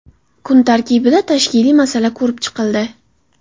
Kun tartibida tashkiliy masala ko‘rib chiqildi.